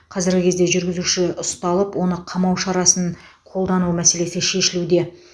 қазіргі кезде жүргізуші ұсталып оны қамау шарасын қолдану мәселесі шешілуде